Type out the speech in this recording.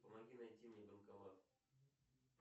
помоги найти мне банкомат